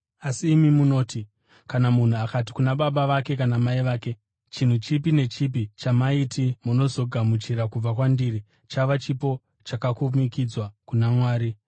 Asi imi munoti kana munhu akati kuna baba vake kana mai vake, ‘Chinhu chipi nechipi chamaiti munozogamuchira kubva kwandiri, chava chipo chakakumikidzwa kuna Mwari’,